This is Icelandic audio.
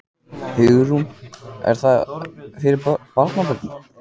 Hugrún: Er það fyrir barnabörnin?